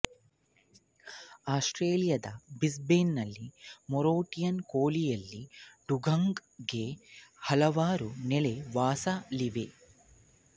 ಆಸ್ಟ್ರೇಲಿಯಾದ Brisbane ನಲ್ಲಿನ Moreton ಕೊಲ್ಲಿಯಲ್ಲಿ ಡುಗಾಂಗ್ ಗೆ ಹಲವಾರು ನೆಲೆವಾಸಾಳಿವೆ